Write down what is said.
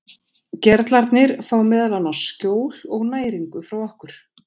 Gerlarnir fá meðal annars skjól og næringu frá okkur.